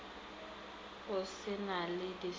go se na le distopo